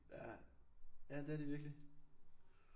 Ja. Ja det er de virkelig